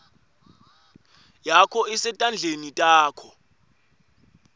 yakho isetandleni takho